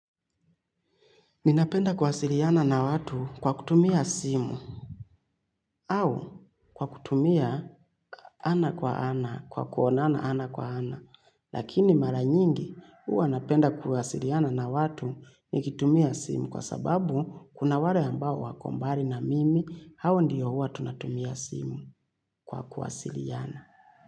Ninapenda kuwasiliana na watu kwa kutumia simu au kwa kutumia ana kwa ana kwa ana kwa kuonana ana kwa ana. Lakini mara nyingi huwa napenda kuwasiliana na watu nikitumia simu kwa sababu kuna wale ambao wako mbali na mimi hawa ndiyo huwa tunatumia simu kwa kuwasiliana.